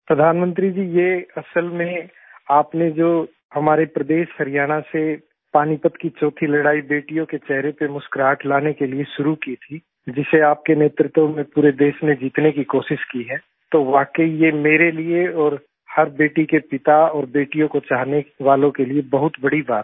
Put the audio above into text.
प्रधानमंत्री जी ये असल में आपने जो हमारे प्रदेश हरियाणा से पानीपत की चौथी लड़ाई बेटियों के चेहरे पर मुस्कुराहट लाने के लिए शुरू की थी जिसे आपके नेतृत्व में पूरे देश ने जितने की कोशिश की है तो वाकई ये मेरे लिए और हर बेटी के पिता और बेटियों को चाहने वालों के लिए बहुत बड़ी बात है